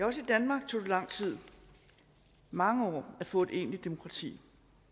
også i danmark tog det lang tid mange år at få et egentligt demokrati